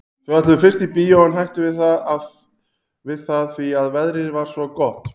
Þau ætluðu fyrst í bíó en hættu við það því að veðrið var svo gott.